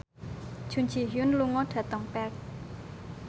Jun Ji Hyun lunga dhateng Perth